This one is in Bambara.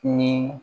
Ni